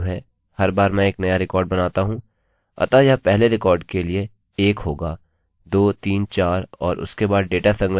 अतः यह पहले रिकॉर्ड के लिए 1 होगा 234 और इसके बाद डेटा संग्रहित किया जाएगा